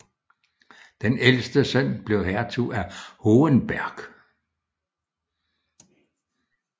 Den ældste søn blev hertug af Hohenberg